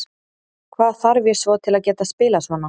Hvað þarf ég svo til að geta spilað svona?